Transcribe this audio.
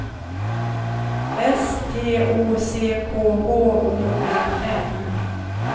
S T O C K H O L M